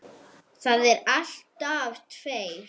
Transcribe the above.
Það eru alltaf tveir